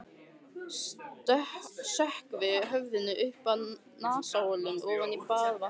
Sökkvi höfðinu upp að nasaholum ofan í baðvatnið.